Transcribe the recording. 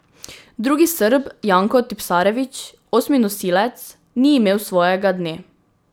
Drugi Srb Janko Tipsarević, osmi nosilec, ni imel svojega dne.